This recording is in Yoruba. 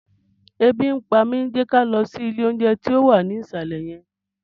Ebi ń pa mi! Jẹ́ ká lọ sí ilé oúnjẹ tó wà ní ìsàlẹ̀ yẹn